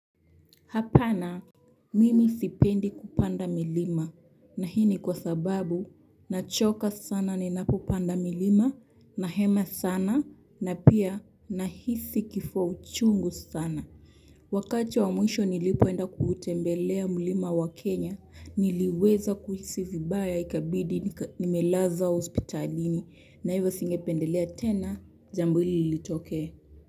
Hapana, mimi sipendi kupanda milima na hii ni kwa sababu nachoka sana ninapopanda milima, nahema sana na pia nahisi kifua uchungu sana. Wakati wa mwisho nilipoenda kuutembelea milima ya Kenya niliweza kuhisi vibaya, ikabidi nimelazwa hospitalini na hivyo singependelea tena jambo hilo litokee.